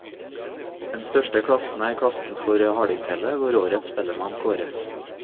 Den største klassen er klassen for hardingfele, hvor årets spellemann kåres.